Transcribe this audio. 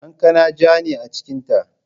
Kankana ja ne a cikinta.